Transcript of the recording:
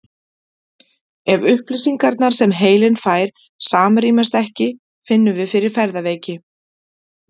Ef upplýsingarnar sem heilinn fær samrýmast ekki finnum við fyrir ferðaveiki.